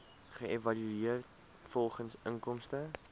geëvalueer volgens inkomste